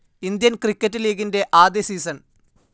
Indian cricket ലീഗിന്റെ ആദ്യ season.